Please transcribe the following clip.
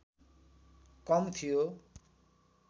कम थियो